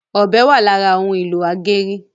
ọbẹ wa lára òun ìlò ageri